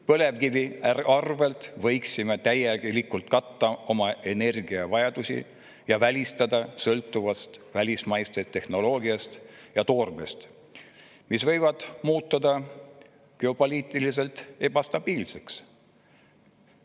Põlevkiviga võiksime täielikult katta oma energiavajaduse ja välistada sõltuvuse välismaisest tehnoloogiast ja toormest, mis võivad muutuda geopoliitiliselt ebastabiilseks.